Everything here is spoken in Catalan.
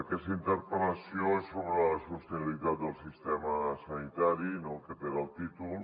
aquesta interpel·lació és sobre la sostenibilitat del sistema sanitari aquest era el títol